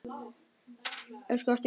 Elsku ástin mín.